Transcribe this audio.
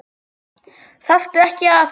Þarftu ekki að.?